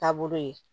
Taabolo ye